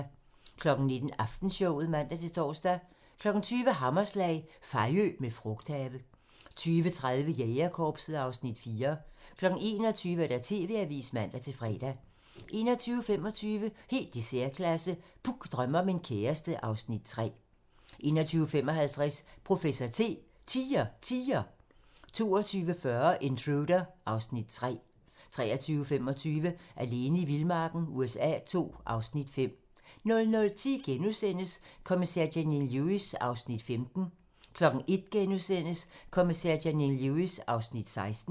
19:00: Aftenshowet (man-tor) 20:00: Hammerslag - Fejø med frugthave 20:30: Jægerkorpset (Afs. 4) 21:00: TV-avisen (man-fre) 21:25: Helt i særklasse - Puk drømmer om en kæreste (Afs. 3) 21:55: Professor T: Tiger Tiger 22:40: Intruder (Afs. 3) 23:25: Alene i vildmarken USA II (Afs. 5) 00:10: Kommissær Janine Lewis (15:19)* 01:00: Kommissær Janine Lewis (16:19)*